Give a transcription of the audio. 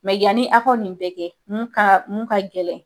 Mɛ yanni aw ka nin bɛɛ kɛ mun ka mun ka gɛlɛn,